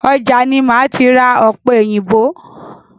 Ọjà ni máa ti ra ọ̀pẹ òyìnbó.